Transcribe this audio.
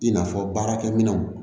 I n'a fɔ baarakɛminɛnw